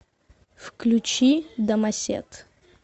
включи домосед